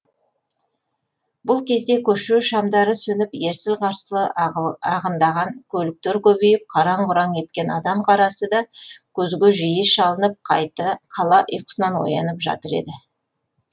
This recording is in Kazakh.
бұл кезде көше шамдары сөніп ерсілі қарсылы ағындаған көліктер көбейіп қараң құраң еткен адам қарасы да көзге жиі шалынып қала ұйқысынан оянып жатыр еді